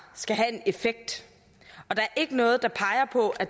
skal have en effekt og der er ikke noget der peger på at